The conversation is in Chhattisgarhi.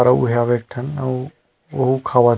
और उ है यहाँ एक ठन अउ उहु खावत हे।